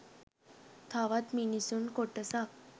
තවත් මිනිසුන් කොටසක්